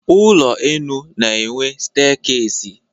Ụlọenu na-enwe steekesi.